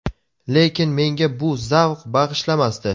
Lekin menga bu zavq bag‘ishlamasdi.